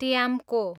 ट्याम्को